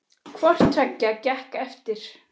Hvort tveggja gekk eftir.